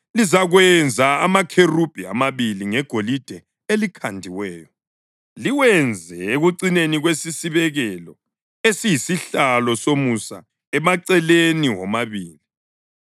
Lizakwenza amakherubhi amabili ngegolide elikhandiweyo, liwenze ekucineni kwesisibekelo esiyisihlalo somusa emaceleni womabili.